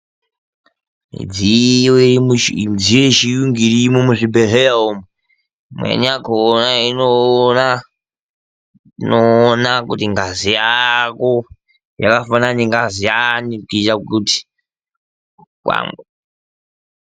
Midziyo yechiyungu irimo muzvibhedhlera umu imweni yakona inoona kuti ngazi yako yakafanana nengazi yani.